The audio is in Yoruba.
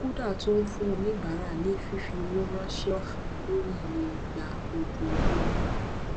kuda tún ń fún oníbàárà ní fífi owó ránṣẹ ọfẹ lórí iye ìgbà ojoojúmọ